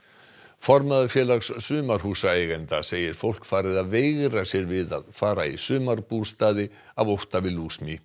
formaður Félags sumarhúsaeigenda segir fólk farið að veigra sér við að fara í sumarbústaði af ótta við